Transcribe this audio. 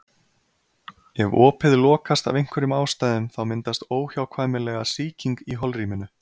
Ef opið lokast af einhverjum ástæðum þá myndast óhjákvæmilega sýking í holrýminu.